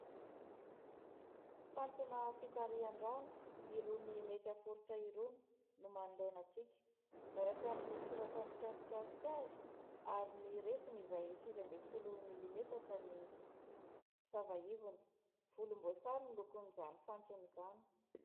Fantsona fitarihan-drano irony mety aforitra irony no manoloana antsika. Miaraka amin' ny soratra mikasikasika azy ary ny refiny izay sivy amby folo milimetatra ny sava ivony. Volom-boasary ny lokon' izany fantsona izany.